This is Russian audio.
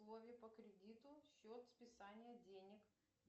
условия по кредиту счет списания денег